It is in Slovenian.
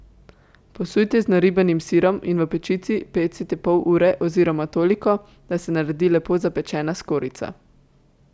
Posujte z naribanim sirom in v pečici pecite pol ure oziroma toliko, da se naredi lepo zapečena skorjica.